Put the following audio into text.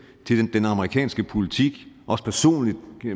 den amerikanske politik også personligt